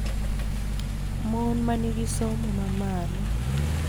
Mon ma nigi somo ma malo